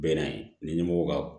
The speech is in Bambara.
Bɛɛ n'a ye ni ɲɛmɔgɔ ka